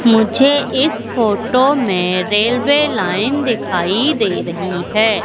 मुझे इस फोटो में रेलवे लाइन दिखाई दे रही है।